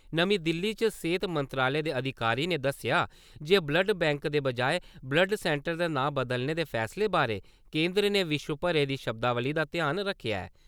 नमीं दिल्ली च सेहत मंत्रालय दे अधिकारी ने दस्सेआ जे कि ब्लड बैंकें दे बजाए ब्लड सैन्टर दे नांऽ बदलने दे फैसले बारे केंदर ने विश्व भरे दी शब्दावली दा ध्यान रक्खेआ ऐ।